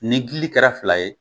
Ni dili kɛra fila ye